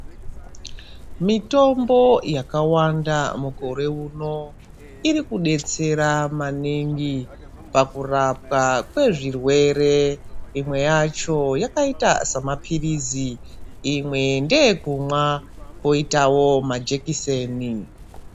Mitombo yakawanda mukore uno iri mudetsera maningi pakurapwa kwezvirwere . Imwe yacho yakaita semaphirizi, imwe ndeyekumwa poitawo majekiseni.